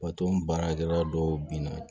Wa to baarakɛla dɔw binna